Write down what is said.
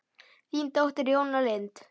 Þín dóttir, Jóna Lind.